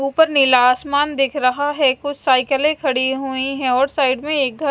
उपर नीला आसमान दिख रहा है कुछ साइकले खड़ी हुई है और साइड में एक घर--